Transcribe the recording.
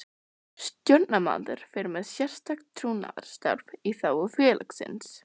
Stjórnarmaður fer með sérstakt trúnaðarstarf í þágu félagsins.